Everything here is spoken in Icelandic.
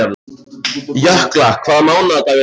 Jökla, hvaða mánaðardagur er í dag?